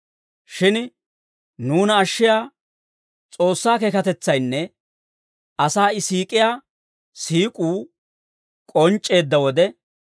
Shin nuuna ashshiyaa S'oossaa keekatetsaynne asaa I siik'iyaa siik'uu k'onc'c'eedda wode,